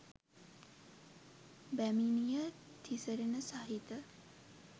බැමිණිය තිසරණ සහිත